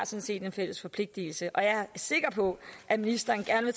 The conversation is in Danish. set en fælles forpligtelse jeg er sikker på at ministeren gerne